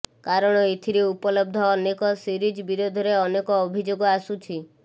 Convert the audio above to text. କାରଣ ଏଥିରେ ଉପଲବ୍ଧ ଅନକେ ସିରିଜ୍ ବିରୋଧରେ ଅନେକ ଅଭିଯୋଗ ଆସୁଛି